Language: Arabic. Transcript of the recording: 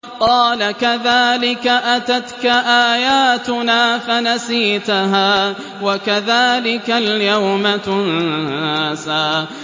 قَالَ كَذَٰلِكَ أَتَتْكَ آيَاتُنَا فَنَسِيتَهَا ۖ وَكَذَٰلِكَ الْيَوْمَ تُنسَىٰ